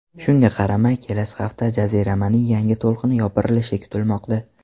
Shunga qaramay, kelasi hafta jaziramaning yangi to‘lqini yopirilishi kutilmoqda.